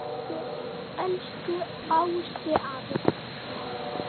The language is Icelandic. Elsku Ási afi.